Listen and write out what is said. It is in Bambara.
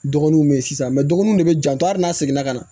Dɔgɔnunw be yen sisan dɔgɔninw de be janto hali n'a seginna ka na